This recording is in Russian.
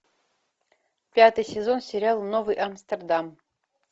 пятый сезон сериала новый амстердам